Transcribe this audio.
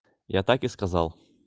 я так и сказал